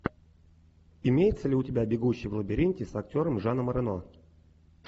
имеется ли у тебя бегущий в лабиринте с актером жаном рено